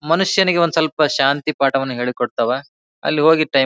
ಮನುಷ್ಯನಿಗೆ ಒಂದು ಸ್ವಲ್ಪ ಶಾಂತಿ ಪಾಠವನ್ನ ಹೇಳಿಕೊಟ್ಟವ ಅಲ್ಲಿ ಹೋಗಿ ಟೈಮ್ --